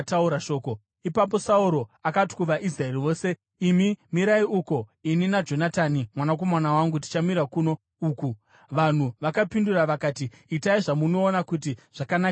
Ipapo Sauro akati kuvaIsraeri vose, “Imi mirai uko; ini naJonatani mwanakomana wangu tichamira kuno uku.” Vanhu vakapindura vakati, “Itai zvamunoona kuti zvakanakisisa kwamuri.”